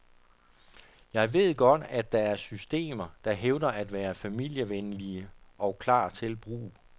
Jeg ved godt, at der er systemer, der hævder at være familievenlige og klar til brug.